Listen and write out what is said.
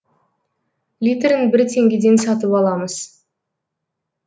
литрін бір теңгеден сатып аламыз